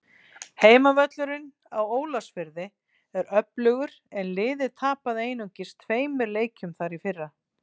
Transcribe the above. Heimavöllurinn á Ólafsfirði er öflugur en liðið tapaði einungis tveimur leikjum þar í fyrra.